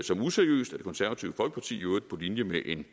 som useriøst af det konservative folkeparti i øvrigt på linje med en